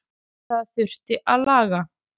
Það þurfi að laga.